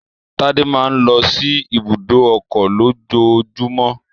Tádé máa ń lọ sí ibùdó ọkọ̀ lójoojúmọ́